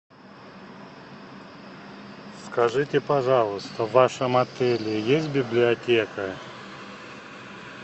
скажите пожалуйста в вашем отеле есть библиотека